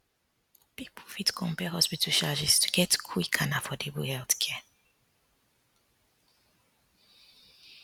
people fit compare hospital charges to get quick and affordable healthcare